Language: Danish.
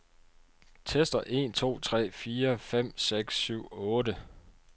Tester en to tre fire fem seks syv otte.